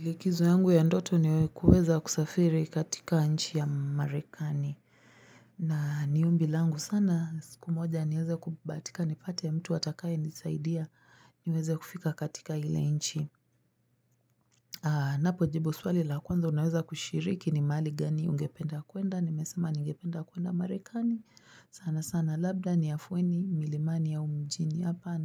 Likizo yangu ya ndoto niwe kuweza kusafiri katika nchi ya marekani. Na niombi langu sana. Siku moja niweze kubatika ni pate ya mtu watakai ni saidia niweze kufika katika ile inchi. Napojibu swali la kwanza unaweza kushiriki ni mali gani ungependa kuenda. Nimesema ni ungependa kuenda marekani. Sana sana labda ni afueni milimani ya mjini hapa.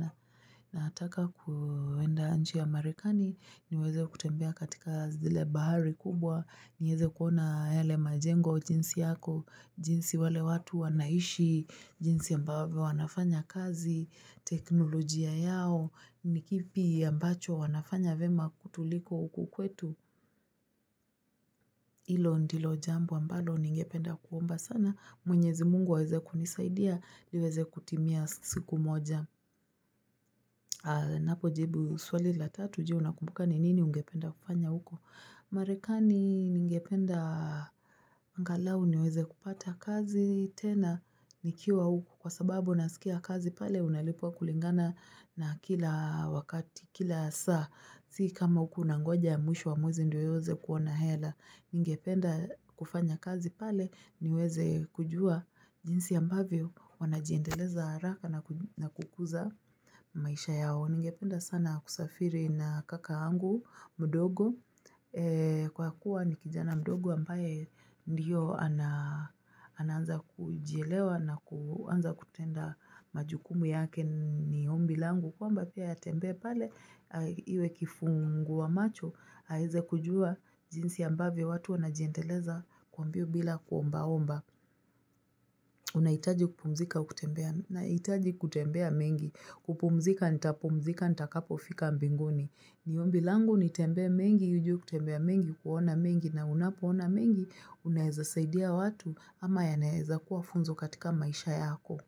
Nataka kuenda nchi ya marekani. Niweze kutembea katika zile bahari kubwa niweze kuona yale majengo jinsi yako jinsi wale watu wanaishi jinsi ambavyo wanafanya kazi teknolojia yao Nikipi ambacho wanafanya vyema kutuliko ukukwetu Ilo ndilo jambo ambalo ningependa kuomba sana mwenyezi mungu aweze kunisaidia Liweze kutimia siku moja Napo jibu swali la tatuji unakumbuka ni nini ungependa kupanya uko Marekani ningependa ngalau niweze kupata kazi tena nikiwa huku kwa sababu nasikia kazi pale unalipwa kulingana na kila wakati kila saa Si kama huku unangoja mwisho wa mwezi ndio huweze kuwa hela ningependa kufanya kazi pale niweze kujua jinsi ambavyo wanajiendeleza haraka na kukuza maisha yao Ningependa sana kusafiri na kaka angu, mdogo, kwa kuwa ni kijana mdogo ambaye ndiyo ananza kujielewa na kuanza kutenda majukumu yake ni hombi langu. Kwamba pia ya tembe pale, iwe kifungu wa macho, haize kujua jinsi ambavyo watu anajiendeleza kwa mbio bila kuomba omba. Unaitaji kupumzika, kutembea mengi. Kupumzika, nitapumzika, nitakapofika mbingoni. Niombi langu nitembe mengi hivi kutembea mengi, kuona mengi na unapoona mengi, unaeza saidia watu ama ya naeza kuwa funzo katika maisha yako.